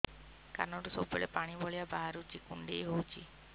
କାନରୁ ସବୁବେଳେ ପାଣି ଭଳିଆ ବାହାରୁଚି କୁଣ୍ଡେଇ ହଉଚି